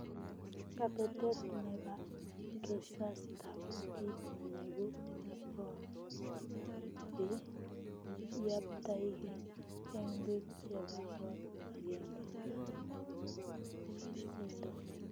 Kabetet nebaa kesasta koo kiit nebuuu koo be yaptaigee eng biik chebaa koot agengee and osindoo